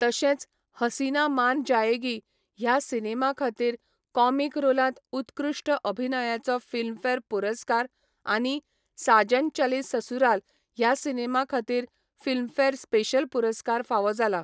तशेंच 'हसीना मान जायेगी' ह्या सिनेमा खातीर कॉमिक रोलांत उत्कृश्ट अभिनयाचो फिल्मफेअर पुरस्कार आनी 'साजन चले ससुराल' ह्या सिनेमा खातीर फिल्मफेअर स्पेशल पुरस्कार फावो जाला.